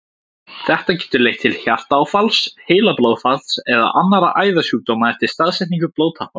Þetta getur leitt til hjartaáfalls, heilablóðfalls eða annarra æðasjúkdóma eftir staðsetningu blóðtappans.